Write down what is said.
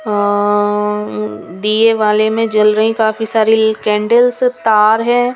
अ दिए वाले में जल रही काफी सारी कैंडल्स तार है.